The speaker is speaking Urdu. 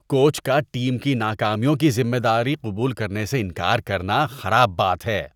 کوچ کا ٹیم کی ناکامیوں کی ذمہ داری قبول کرنے سے انکار کرنا خراب بات ہے۔